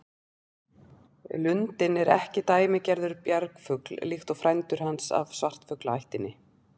Lundinn er ekki dæmigerður bjargfugl líkt og frændur hans af svartfuglaættinni.